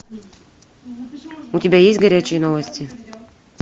у тебя есть горячие новости